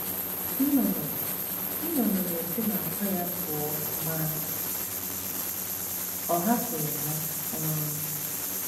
Nnụnụ nnụnụ na-esi n'àkwá ya pụọ ma ọ hapụghị ha um